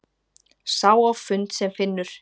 Sá á fund sem finnur!